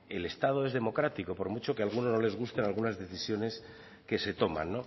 el estado es democrático por mucho que a algunos no les gusten algunas decisiones que se toman